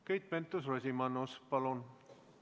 Keit Pentus-Rosimannus, palun!